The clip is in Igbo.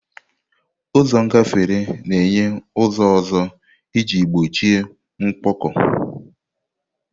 Ụzọ ngafere na-enye ụzọ ọzọ iji gbochie mkpọkọ.